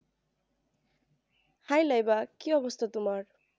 hai Laiba কি অবস্তা তুমার